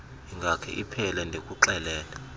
ingakhe iphele ndikuxelele